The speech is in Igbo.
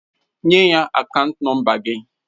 Nye ya akaant nọmba gị!